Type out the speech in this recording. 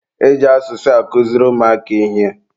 Eji asụsụ akụziri ụmụaka ihe.